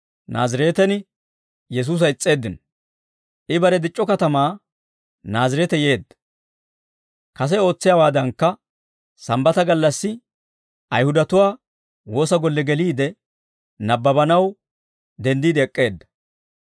I bare dic'c'o katamaa Naazireete yeedda; kase ootsiyaawaadankka sambbata gallassi Ayihudatuwaa woosa golle geliide nabbabanaw denddiide ek'k'eedda.